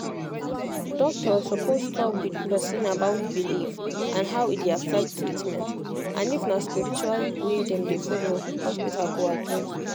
doctor suppose talk with person about belief and how e dey affect treatment and if na spiritual way dem dey follow hospital go adjust